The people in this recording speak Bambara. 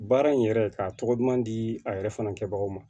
Baara in yɛrɛ ka tɔgɔ duman di a yɛrɛ fana kɛbagaw ma